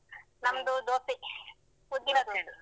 ನಮ್ದು ದೋಸೆ ಉದ್ದಿನ ದೋಸೆ.